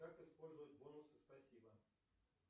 как использовать бонусы спасибо